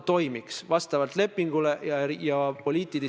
Teatavasti on julgeolekuteemad väga olulised.